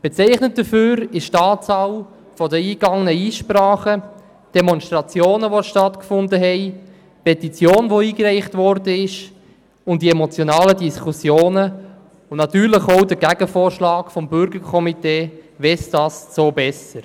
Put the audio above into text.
Bezeichnend dafür ist die Anzahl der eingegangenen Einsprachen und stattgefundenen Demonstrationen, die eingereichte Petition, die emotionalen Diskussionen und natürlich auch der Gegenvorschlag des Bürgerkomitees «Westast so besser».